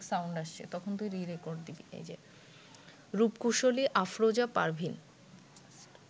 রূপকুশলী Afroza Parvin